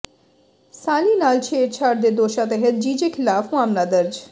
ਸਾਲੀ ਨਾਲ ਛੇੜਛਾੜ ਦੇ ਦੋਸ਼ਾਂ ਤਹਿਤ ਜੀਜੇ ਖਿਲਾਫ਼ ਮਾਮਲਾ ਦਰਜ